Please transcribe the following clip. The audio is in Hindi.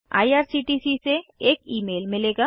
आईआरसीटीसी से एक ईमेल मिलेगा